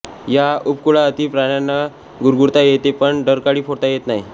या उपकुळातील प्राण्यांना गुरगुरता येते पण डरकाळी फोडता येत नाही